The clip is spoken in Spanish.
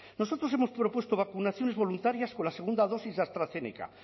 nosotros hemos propuesto vacunaciones voluntarias con la segunda dosis de astrazeneca